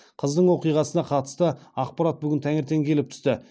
қыздың оқиғасына қатысты ақпарат бүгін таңертең келіп түсті